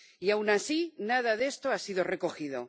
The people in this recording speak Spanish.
Y, aun así, nada de esto ha sido recogido.